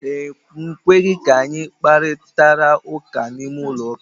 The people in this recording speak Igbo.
Ekweghị ka anyị kparitara ụka n'ime ụlọ ụka.